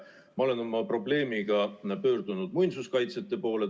Ma olen oma probleemiga pöördunud muinsuskaitsjate poole.